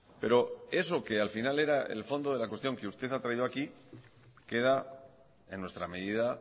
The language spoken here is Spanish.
pero eso que al final era el fondo de la cuestión que usted ha traído aquí queda en nuestra medida